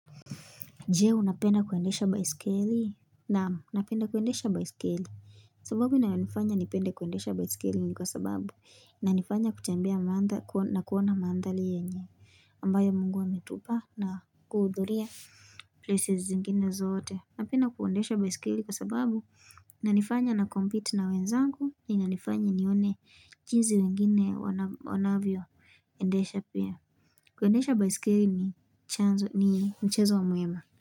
Jee, unapenda kuendesha baisikeli? Naamu, napenda kuendesha baisikeli. Sababu inayo nifanya nipende kuendesha baisikeli ni kwa sababu. Nanifanya kutembea na kuona mandhari yenye. Ambayo mungu ametupa na kuhudhuria. Places zingine zote. Napenda kuendesha baisikili kwa sababu. Inanifanya na compete na wenzangu. Inanifanya nione jinsi wengine wanavyo. Endesha pia. Kuendesha baisikeli ni mchezo wa muhimu.